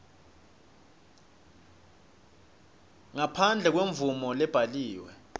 ngaphandle kwemvumo lebhaliwe